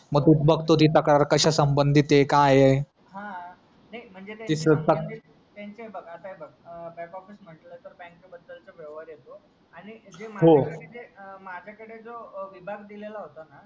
मी बघ तू ती तक्रार कशा संबंधित ए काय ए हा नाय म्हणजे ते स्वतः त्यांचे ते आता हे बघबँक ऑफिस म्हंटलं तर बँके बद्दल चा व्यवहार येतो आणि जे हो माझा साठी जे माझा कडे जो विभाग दिलेला होता ना